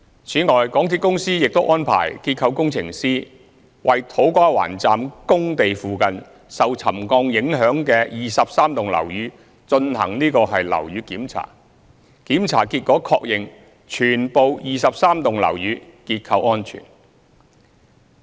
此外，港鐵公司亦安排註冊結構工程師，為土瓜灣站工地附近受沉降影響的23幢樓宇進行樓宇檢查，檢查結果確認全部23幢樓宇結構安全。